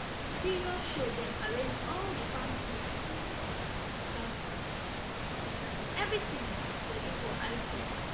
na serious show dem arrange all the farm tools clean planters tillers everything ready for eye check